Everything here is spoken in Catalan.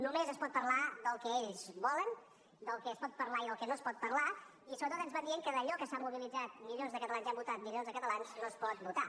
només es pot parlar del que ells volen del que es pot parlar i del que no es pot parlar i sobretot ens van dient que d’allò que s’han mobilitzat milions de catalans i han votat milions de catalans no es pot votar